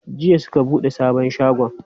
Jiya suka buɗe sabon shagon.